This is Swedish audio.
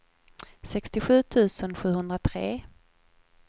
sextiosju tusen sjuhundratre